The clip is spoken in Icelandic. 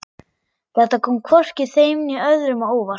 Þetta kom hvorki þeim né öðrum á óvart.